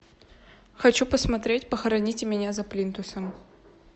хочу посмотреть похороните меня за плинтусом